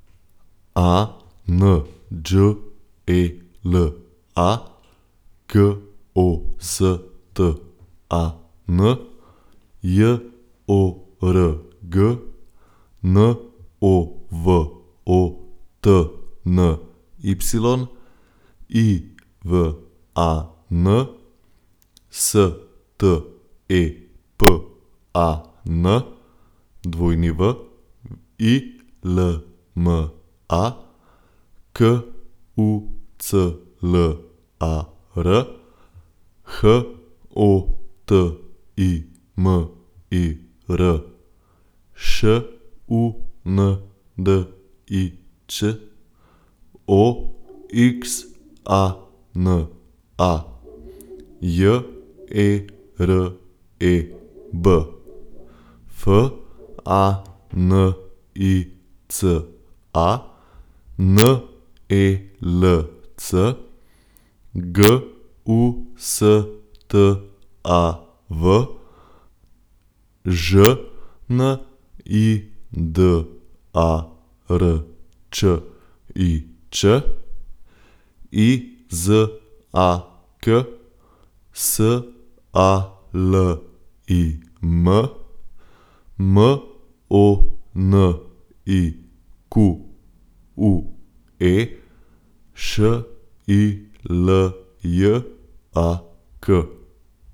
Anđela Gostan, Jorg Novotny, Ivan Stepan, Wilma Kuclar, Hotimir Šundić, Oxana Jereb, Fanica Nelc, Gustav Žnidarčič, Izak Salim, Monique Šiljak.